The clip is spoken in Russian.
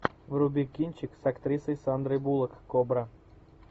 вруби кинчик с актрисой сандрой буллок кобра